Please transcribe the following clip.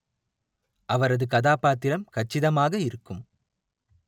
அவரது கதாபாத்திரம் கச்சிதமாக இருக்கும்